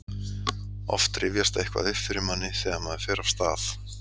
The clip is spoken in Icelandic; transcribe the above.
Oft rifjast eitthvað upp fyrir manni þegar maður fer af stað.